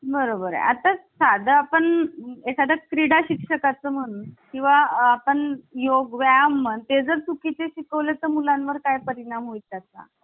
त्याचबरोबर दक्षिण आफ्रिकेकडून आपण घटनादुरुस्तीची पद्धत, त्याचबरोबर राज्यसभेतील सदस्यांची जी निवडणूक आहे ते आपण घेतलेली आहे दक्षिण आफ्रिकेकडून घेतलेली आहे. नीट लक्ष द्या राज्यसभेतील सदस्यांची निवडणूक